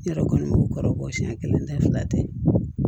Ne yɛrɛ kɔni b'u kɔrɔ bɔ siɲɛ kelen tɛ fila tɛ